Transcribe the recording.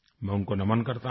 मैं उनको नमन करता हूँ